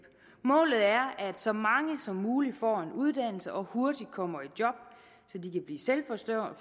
målet er at så mange som muligt får en uddannelse og hurtigt kommer i job så de kan blive selvforsørgende